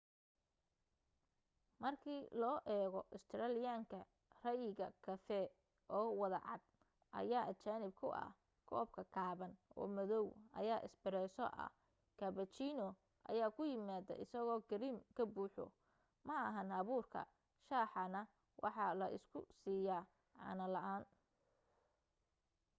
markii loo eego australian-ka ray'iga kafee 'oo wada cad’ ayaa ajnabi ku ah. koobka gaaban oo madaw ayaa ‘espresso’ ah cappuccino ayaa ku yimaada isagoo kareem ka buuxo ma ahan abuurka shaha na waxaa la isu siiyo caano la’aan